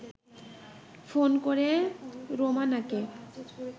phone করে রোমানাকে